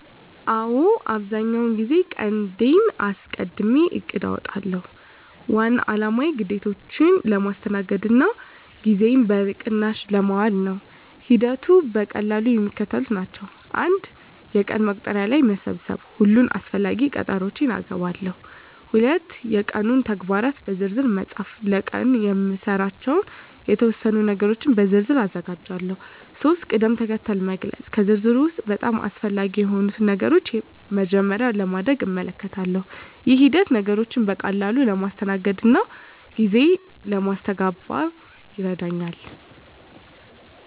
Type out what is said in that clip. አዎ፣ አብዛኛውን ጊዜ ቀንዴን አስቀድሜ እቅድ አውጣለሁ። ዋና አላማው ግዴታዎቼን ለማስተናገድ እና ጊዜዬን በቅናሽ ለማዋል ነው። ሂደቱ በቀላሉ የሚከተለው ነው፦ 1. የቀን መቁጠሪያ ላይ መሰብሰብ ሁሉንም አስፈላጊ ቀጠሮዎቼን እገባለሁ። 2. የቀኑን ተግባራት በዝርዝር መፃፍ ለቀኑ የምሰራባቸውን የተወሰኑ ነገሮች በዝርዝር ዝርዝር አዘጋጃለሁ። 3. ቅድም-ተከተል መግለጽ ከዝርዝሩ ውስጥ በጣም አስፈላጊ የሆኑትን ነገሮች በመጀመሪያ ለማድረግ እመልከታለሁ። ይህ ሂደት ነገሮችን በቀላሉ ለማስተናገድ እና ጊዜ ለማስተጋበን ይረዳኛል።